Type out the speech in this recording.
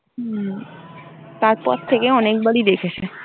হম তারপর থেকে অনেকবারই দেখেছে।